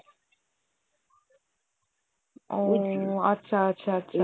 ওহ আচ্ছা আচ্ছা আচ্ছা